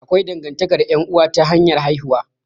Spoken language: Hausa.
Akwai dangantakar ƴan'uwa ta hanyar haihuwa.